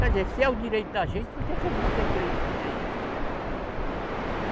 Quer dizer, se é o direito da gente, por que que a gente não tem direito nesse direito?